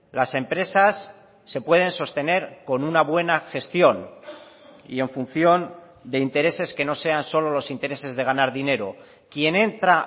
las empresas se pueden sostener con una buena gestión y en función de intereses que no sean solo los intereses de ganar dinero quien entra